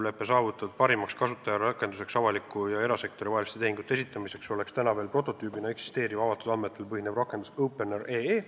Üheskoos on saavutatud kokkulepe, et parim kasutajarakendus avaliku ja erasektori vaheliste tehingute esitamiseks on praegu veel prototüübina eksisteeriv avatud andmetel põhinev rakendus Opener.ee.